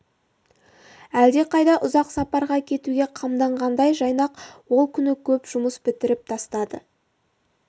әлдеқайда ұзақ сапарға кетуге қамданғандай жайнақ ол күні көп жұмыс бітіріп тастады